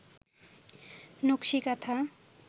নকশি কাঁথা